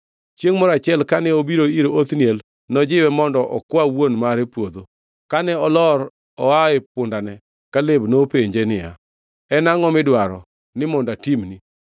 Chiengʼ moro achiel kane obiro ir Othniel, nojiwe mondo okwa wuon mare puodho. Kane olor oa e pundane, Kaleb nopenje niya, “En angʼo midwaro ni mondo atimni?”